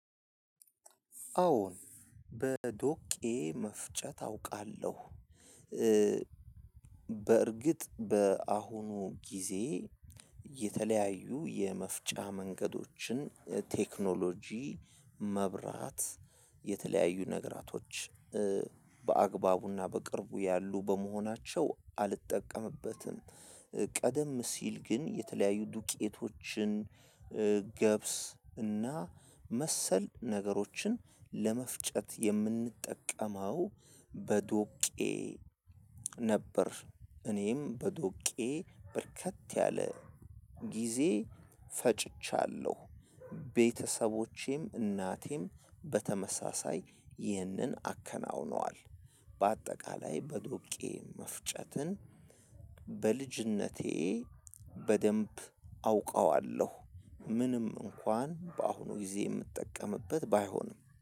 አዎ በዶቄ መፍጨት አውቃለሁ። በእርግጥ በአሁኑ ጊዜ የተለያዩ የመፍጫ መንገዶችን ቴክኖሎጂ መብራት የተለያዩ ነገራቶች በአግባቡና በቅርቡ ያሉ በመሆናቸው አልጠቀምበትም። ቀደም ሲል ግን የተለያዩ ዱቄቶችን። ገብስ እና መሰል ነገሮችን ለመፍጨት የምንጠቀመው በዶቄ ነበር። እኔም በዶቄ በርከት ያለ ጊዜ ፈጭቻለሁ። ቤተሰቦቼም እናቴም በተመሳሳይ ይህንን አከናውነዋል። በአጠቃላይ በዶቄ መፍጨትን በልጅነቴ በደንብ አውቀዋለሁ ምንም እንኳን በአሁኑ ጊዜ የምጠቀምበት ባይሆንም